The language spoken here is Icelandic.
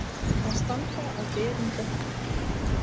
Að standa á berum bökkum